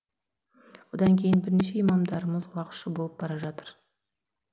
одан кейін бірнеше имамдарымыз уағызшы болып бара жатыр